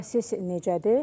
İndi proses necədir?